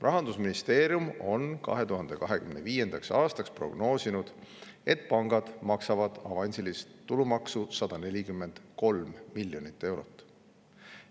Rahandusministeerium on 2025. aastaks prognoosinud, et pangad maksavad avansilist tulumaksu 143 miljonit eurot.